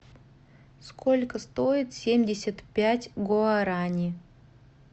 сколько стоит семьдесят пять гуарани